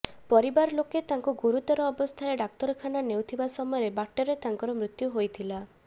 ପରିବାର ଲୋକେ ତାଙ୍କୁ ଗୁରୁତର ଅବସ୍ଥାରେ ଡାକ୍ତରଖାନା ନେଉଥିବା ସମୟରେ ବାଟରେ ତାଙ୍କର ମୃତ୍ୟୁ ହୋଇଥିଲା